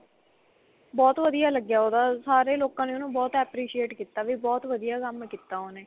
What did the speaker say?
ਬਹੁਤ ਵਧੀਆ ਲੱਗਿਆ ਉਹਦਾ ਸਾਰੇ ਲੋਕਾਂ ਨੇ ਉਹਨੂੰ ਬਹੁਤ appreciate ਕੀਤਾ ਵੀ ਬਹੁਤ ਵਧੀਆ ਕੰਮ ਕੀਤਾ ਉਹਨੇ